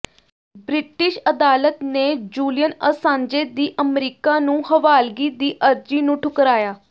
British ਅਦਾਲਤ ਨੇ Julian Assange ਦੀ ਅਮਰੀਕਾ ਨੂੰ ਹਵਾਲਗੀ ਦੀ ਅਰਜ਼ੀ ਨੂੰ ਠੁਕਰਾਇਆ